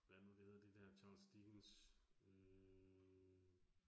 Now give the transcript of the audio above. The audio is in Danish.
Hvad er det nu, det hedder det dér Charles Dickens. Øh